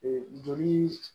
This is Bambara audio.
joli